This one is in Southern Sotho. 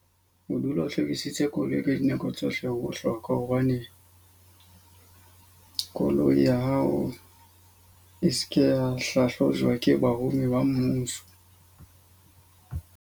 O dula o hlwekisitse koloi ka dinako tsohle ho hloka hobane koloi ya hao e seke ya hlahlojwa ke barumi ba mmuso.